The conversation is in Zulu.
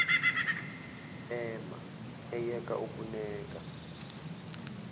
ema eyeka ukuneka